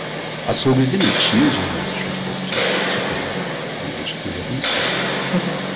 а сол кезде мен ішімнен жаңағындай осуждать ететінмін соларды соттайтынмын мынаның жасында ұят емес пе